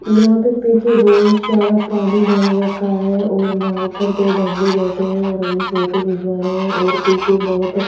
यहां पे पीछे बहोत सारा पानी भर रखा है और नाव पर दो बंदे बैठे हैं और अपनी फोटो खिंचवा रहे हैं और पीछे बहोत --